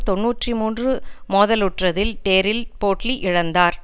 தொன்னூற்றி மூன்று மோதலுற்றதில் டெரில் போட்லி இழந்தார்